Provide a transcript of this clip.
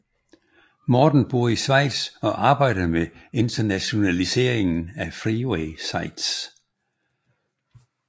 Morten bor i Schweiz og arbejder med internationaliseringen af Freeway sites